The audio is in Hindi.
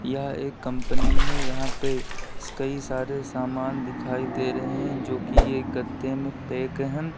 यह एक कंपनी है यहाँ पर कई सारे से समान दिखाई दे रहे हैं जो कि यह गते में पैक है।